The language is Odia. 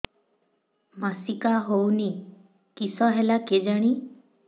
ମାସିକା ହଉନି କିଶ ହେଲା କେଜାଣି